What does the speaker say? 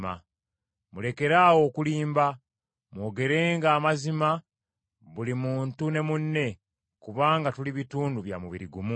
Mulekeraawo okulimba, mwogerenga amazima buli muntu ne munne, kubanga tuli bitundu bya mubiri gumu.